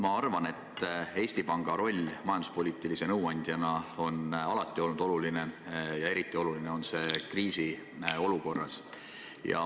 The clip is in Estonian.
Ma arvan, et Eesti Panga roll majanduspoliitilise nõuandjana on alati olnud oluline ja eriti oluline on see kriisiolukorras.